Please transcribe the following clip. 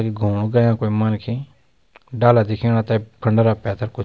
कखि घुमणु गया कोई मनखी डाला दिखेणा तें खंडारा पैथर कुछ।